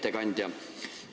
Hea ettekandja!